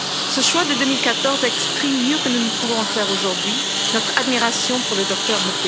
Ce choix de 2014 exprime mieux que nous ne pouvons le faire aujourd'hui notre admiration pour le Dr.